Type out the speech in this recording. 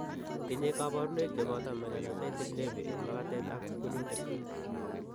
Tinye kabarunoik cheboto melanocytic nevi en magatet ak kunyutik